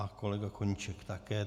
A kolega Koníček také.